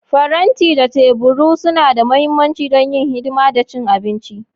Faranti da tabarau suna da mahimmanci don yin hidima da cin abinci.